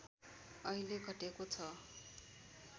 अहिले घटेको छ